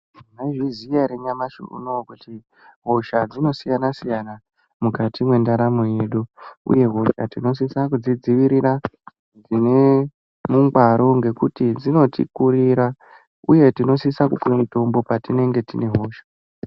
Mwaizviziya here nyamashi unouyu kuti hosha dzinosiyana siyana mukati mwendaramo yedu uye hosha tinosisa kudzidzivirira zvine ungwaro ngekuti dzinotikurira uye tinosisa kumwe mutombo patinenge tine hosha.